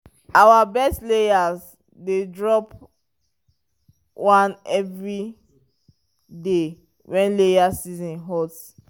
our best layers dey drop one egg every day when laying season hot.